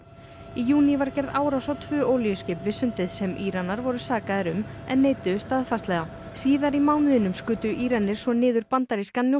í júní var gerð árás á tvö olíuskip við sundið sem Íranar voru sakaðir um en neituðu staðfastlega síðar í mánuðinum skutu Íranir svo niður bandarískan